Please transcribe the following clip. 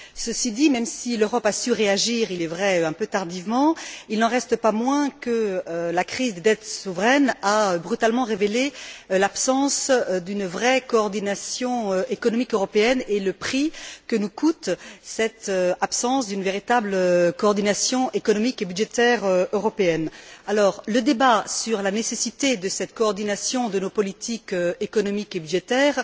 Ceci dit, même si l'Europe a su réagir, il est vrai un peu tardivement, il n'en reste pas moins que la crise des dettes souveraines a brutalement révélé l'absence d'une vraie coordination économique européenne et le prix que nous coûte cette absence d'une véritable coordination économique et budgétaire européenne. Le débat sur la nécessité de cette coordination de nos politiques économiques et budgétaires,